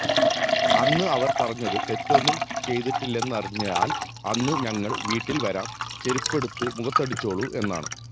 അന്ന് അവർ പറഞ്ഞത് തെറ്റൊന്നും ചെയ്തിട്ടില്ലെന്നറിഞ്ഞാൽ അന്ന് ഞങ്ങൾ വീട്ടിൽ വരാം ചെരുപ്പെടുത്ത് മുഖത്തടിച്ചോളൂ എന്നാണ്